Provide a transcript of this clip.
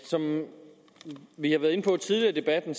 som vi har været inde på tidligere i debatten